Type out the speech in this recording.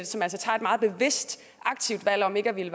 som altså tager et meget bevidst aktivt valg om ikke at ville